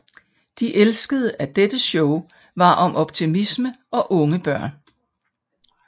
De elskede at dette show var om optimisme og unge børn